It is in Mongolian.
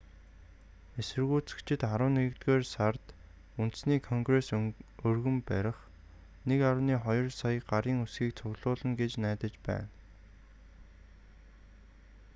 эсэргүүцэгчид арван нэгдүгээр сард үндэсний конгрест өргөн барих 1.2 сая гарын үсгийг цуглуулна гэж найдаж байна